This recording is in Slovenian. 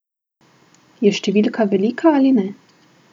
Je številka velika ali ne?